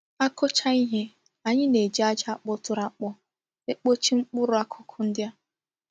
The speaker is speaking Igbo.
A kuchaa ihe, anyi na-eji aja kpoturu akpo epochi mkpuru akuku ndi a.